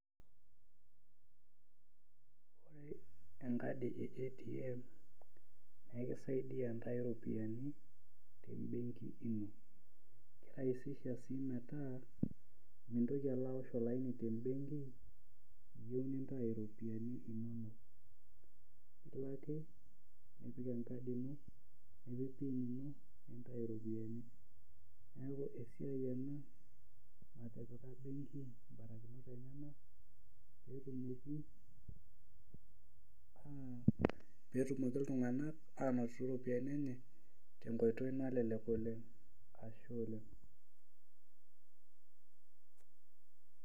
ore enkadi e ATM naa ekisaidi a intayu iropiyiani tenkadi ino ekisaidia sii metaa mintoki alo aosh olaani, tebenki kelo ake nipik engadi ino nipik pin nintayu iropiyiani, pee etumoki iltunganak anoto iropiyiani enye, tenkoitoi nalelek oleng.